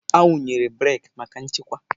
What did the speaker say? Awụnyere breeki maka nchekwa.